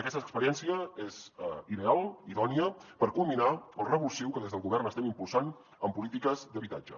aquesta experiència és ideal idònia per culminar el revulsiu que des del govern estem impulsant en polítiques d’habitatge